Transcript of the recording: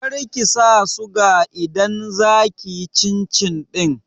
Kar kisa suga idan za kiyi cin cin ɗin